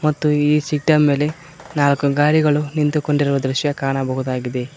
ಮತ್ತು ಈ ಸಿಟ್ಟ ಮೇಲೆ ನಾಲ್ಕು ಗಾಡಿಗಳು ನಿಂತುಕೊಂಡಿರುವ ದೃಶ್ಯ ಕಾಣಬಹುದಾಗಿದೆ.